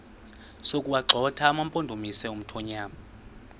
sokuwagxotha amampondomise omthonvama